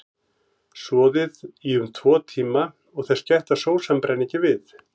Soðið í um tvo tíma og þess gætt að sósan brenni ekki við.